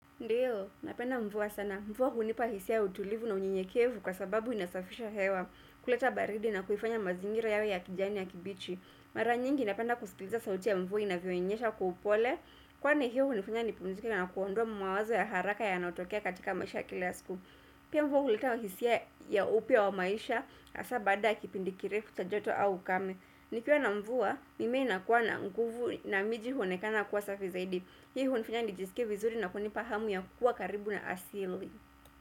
Ndiyo, napenda mvua sana. Mvua hunipa hisia ya utulivu na unyenyekevu kwa sababu inasafisha hewa kuleta baridi na kuifanya mazingira yawe ya kijani ya kibichi. Mara nyingi napenda kusikiliza sauti ya mvua inavyonyesha kwa upole. Kwani hiyo hunifunya nipumizike na kuondoa mawazo ya haraka yanayotokea katika maisha ya kila siku. Pia mvua huleta hisia ya upya wa maisha hasa baada ya kipindi kirefu cha joto au ukame. Nikiwa na mvua mimea inakuwa na nguvu na miji huonekana kuwa safi zaidi. Hii hunifanya nijisikie vizuri na kunipa hamu ya kuwa karibu na asili.